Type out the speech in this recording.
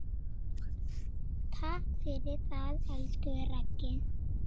Takk fyrir það, elsku Raggi.